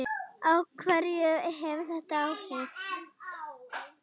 Á hverja hefur þetta áhrif?